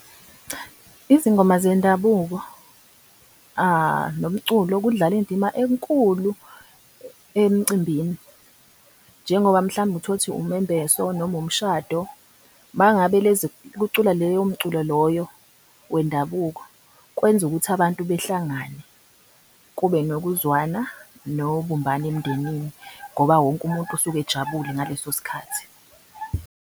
Izingoma zendabuko nomculo kudlala indima enkulu emcimbini njengoba mhlawumbe uthole ukuthi umembeso noma umshado mangabe lezi, kuculwa leyo mculo loyo wendabuko kwenza ukuthi abantu behlangane kube nokuzwana nobumbano emndenini ngoba wonke umuntu osuke ejabule ngaleso sikhathi.